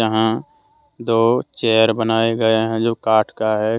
यहां दो चेयर बनाए गए हैं जो काट का है।